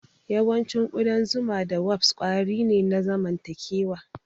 Yawancin ƙudan zuma da wasp kwari ne na zamantakewa.